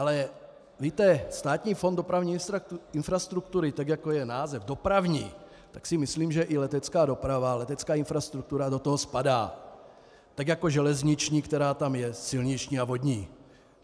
Ale víte, Státní fond dopravní infrastruktury, tak jako je název dopravní, tak si myslím, že i letecká doprava, letecká infrastruktura do toho spadá, tak jako železniční, která tam je, silniční a vodní.